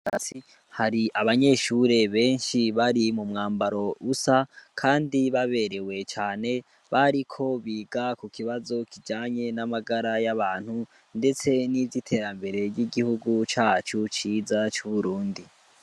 Asi hari abanyeshure benshi bari mu mwambaro usa, kandi baberewe cane bariko biga ku kibazo kijanye n'amagara y'abantu, ndetse n'ivyo iterambere ry'igihugu cacu ciza c'uburundi.